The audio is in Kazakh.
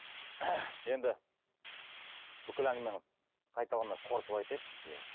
енді бүкіл әңгімені қайталамай қорытып айтайық иә